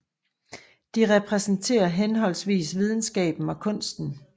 De repræsenterer henholdsvis videnskaben og kunsten